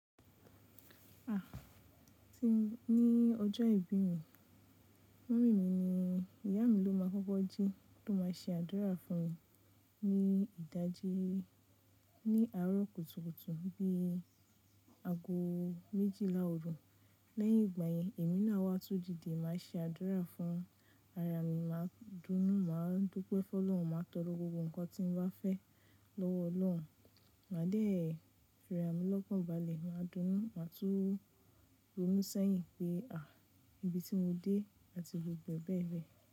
À ní ọjọ́ ìbí mi, mọ́mì mi ni ìyá mi ló máa kọ́kọ́ jí ló máa ṣe àdúrà fún mi ní ìdájí ní àárọ̀ kùtùkùtù bí i ago méjìlá òru. Lẹ́yìn ìgbà yẹn, èmi náà wá tun dide màá ṣe àdúrà fún ara mi, màá dúnú, màá dúpe fún Ọlọ́run, màá tọrọ gbogbo nǹkan tí mo bá fẹ́ lọ́wọ́ Ọlọ́run. Màá dẹ̀ fira mi lọ́kan bàlẹ̀, màá dúnú, màá tún ronú sẹ́yìn pé à ibi tí mo dé àti gbogbo ẹ̀ bẹ̀ bẹ.